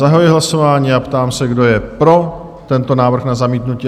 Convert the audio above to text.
Zahajuji hlasování a ptám se, kdo je pro tento návrh na zamítnutí?